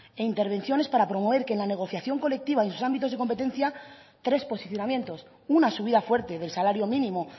e intervenciones para promover en la negociación colectiva y sus ámbitos de competencia tres posicionamientos una subida fuerte del salario mínimo